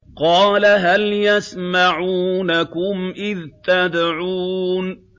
قَالَ هَلْ يَسْمَعُونَكُمْ إِذْ تَدْعُونَ